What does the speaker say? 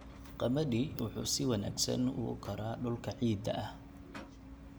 Qamadi wuxuu si wanaagsan ugu koraa dhulka ciidda ah.